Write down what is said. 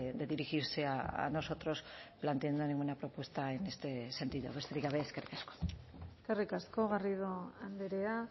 de dirigirse a nosotros planteando ninguna propuesta en este sentido besterik gabe eskerrik asko eskerrik asko garrido andrea